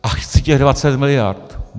A chci těch 20 mld.!